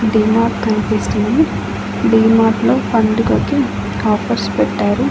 డిమార్ట్ కనిపిస్తుంది డీమార్ట్ లో పండుగకి ఆఫర్స్ పెట్టారు.